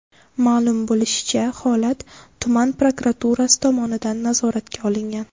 Ma’lum bo‘lishicha, holat tuman prokuraturasi tomonidan nazoratga olingan.